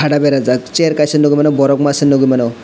berajak chair kaisa nukgwi mano borok masa nukgwi mano.